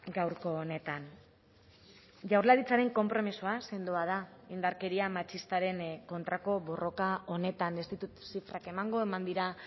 gaurko honetan jaurlaritzaren konpromisoa sendoa da indarkeria matxistaren kontrako borroka honetan ez ditut zifrak emango eman dira